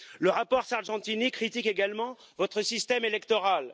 Le rapport Sargentini critique également votre système électoral.